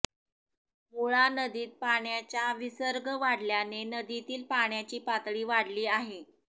मुळा नदीत पाण्याचा विसर्ग वाढल्याने नदीतील पाण्याची पातळी वाढली आहे